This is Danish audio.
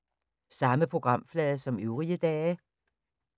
Samme programflade som øvrige dage